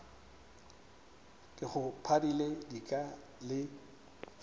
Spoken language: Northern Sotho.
ke go pharile dika le